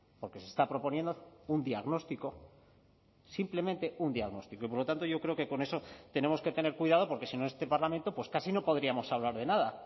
porque se está proponiendo un diagnóstico simplemente un diagnóstico y por lo tanto yo creo que con eso tenemos que tener cuidado porque si no este parlamento pues casi no podríamos hablar de nada